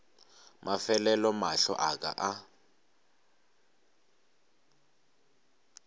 mafelelo mahlo a ka a